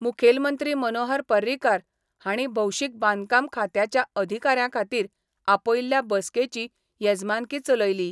मुखेलमंत्री मनोहर पर्रीकार हांणी भौशीक बांदकाम खात्याच्या अधिकाऱ्यां खातीर आपयल्ल्या बसकेची येजमानकी चलयली.